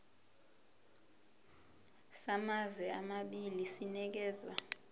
samazwe amabili sinikezwa